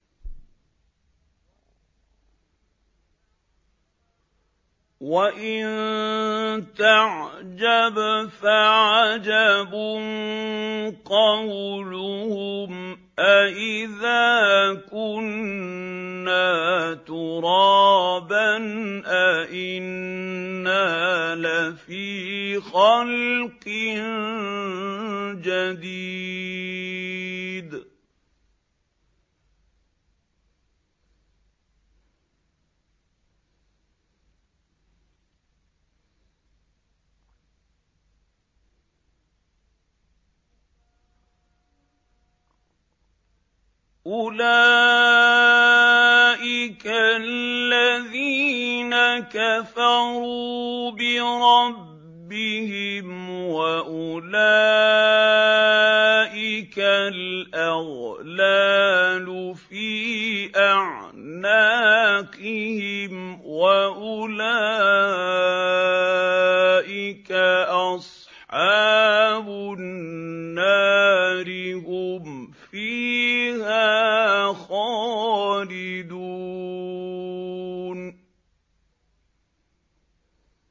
۞ وَإِن تَعْجَبْ فَعَجَبٌ قَوْلُهُمْ أَإِذَا كُنَّا تُرَابًا أَإِنَّا لَفِي خَلْقٍ جَدِيدٍ ۗ أُولَٰئِكَ الَّذِينَ كَفَرُوا بِرَبِّهِمْ ۖ وَأُولَٰئِكَ الْأَغْلَالُ فِي أَعْنَاقِهِمْ ۖ وَأُولَٰئِكَ أَصْحَابُ النَّارِ ۖ هُمْ فِيهَا خَالِدُونَ